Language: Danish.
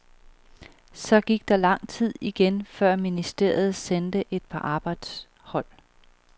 Så gik der lang tid igen før ministeriet sendte et par arbejdshold.